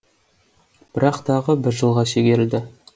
бірақ тағы бір жылға шегерілді